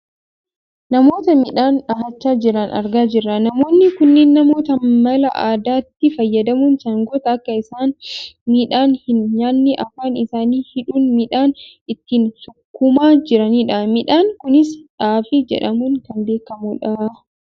Namoota midhaan dhahachaa jiran argaa jirra. Namoonni kunneen namoota mala aadaatti fayyadamuun sangoota akka isaan midhaan hin nyaanne afaan isaanii hidhuun midhaan ittiin sukkuumaa jiranidha. Midhaan kunis xaafii jedhamuun kan beekkamudha.